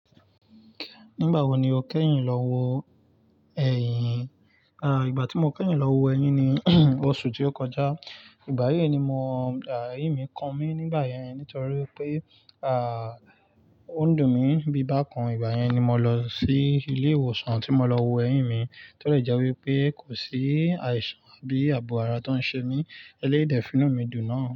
Nígbà wo ni o kẹ́yìn lọ wo ẹyìn? À, ìgbà tí mo kẹ́yìn lọ wo ẹyín ni oṣù tí ó kọjá. Ìgbà yìí ni mo, à, ẹyín mi kan mí nígbà yẹn nítorí pé, à, ó ń dùn mí bí i bá kan. Ìgbà yẹn ni mo lọ sí ilé ìwòsàn tí mo lọ wo ẹyín mi. Tó dẹ̀ jẹ́ wípé kò sí àìsàn àbí àbò ara tó ń ṣe mí. Eléyìí dẹ̀ fi inú mi dùn náà.